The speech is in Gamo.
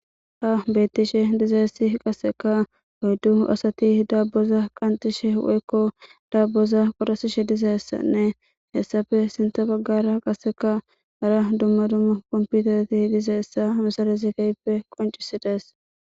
Ha beettishe dizayssi qasseka oyddu asati daabboza qanxishe woykko daabboza qorasishe dizayssanne hessafe sinta baggara qasekka hara dumma dumma komputereti dizayssa ha misalazi keehippe qoncisi dees.